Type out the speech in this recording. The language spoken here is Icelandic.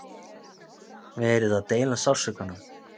Verið að deila sársaukanum